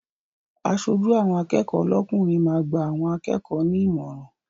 Aṣojú àwọn akẹ́kọ̀ọ́ lọ́kùnrin máa gba àwọn akẹ́kọ̀ọ́ ní ìmọ̀ràn.